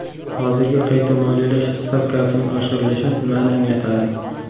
Hozirgi qayta moliyalash stavkasining oshirilishi nimani anglatadi?